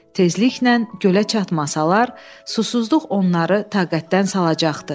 Tezliklə gölə çatmasalar, susuzluq onları taqətdən salacaqdı.